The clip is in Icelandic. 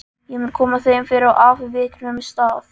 Ég mun koma þeim fyrir á afviknum stað.